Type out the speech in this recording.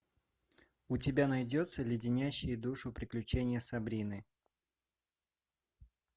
у тебя найдется леденящие душу приключения сабрины